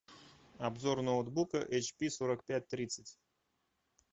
обзор ноутбука эйч пи сорок пять тридцать